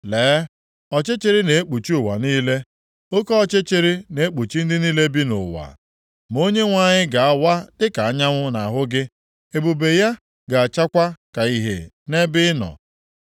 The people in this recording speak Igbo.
Lee, ọchịchịrị na-ekpuchi ụwa niile, oke ọchịchịrị na-ekpuchi ndị niile bi nʼụwa, ma Onyenwe anyị ga-awa dịka anyanwụ nʼahụ gị ebube ya ga-achakwa ka ihe nʼebe i nọ.